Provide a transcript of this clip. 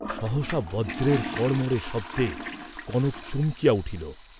সহসা বজ্রের কড়মড় শব্দে কনক চমকিয়া উঠিল।